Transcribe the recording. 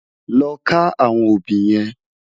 Lò ká áwòn óbì yèn